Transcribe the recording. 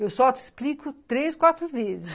Eu só te explico três, quatro vezes.